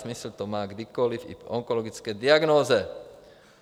Smysl to má kdykoli, i po onkologické diagnóze.